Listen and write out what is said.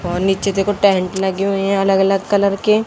और नीचे देखो टेंट लगे हुए हैं अलग अलग कलर के।